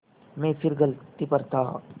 मैं फिर गलती पर था